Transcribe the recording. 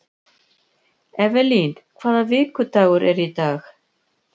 Evelyn, hvaða vikudagur er í dag?